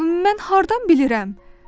Mən hardan bilirəm?